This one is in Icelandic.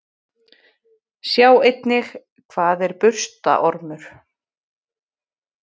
Sjá einnig: Hvað er burstaormur?